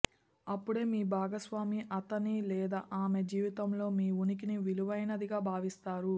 అప్పుడే మీ భాగస్వామి అతని లేదా ఆమె జీవితంలో మీ ఉనికిని విలువైనదిగా భావిస్తారు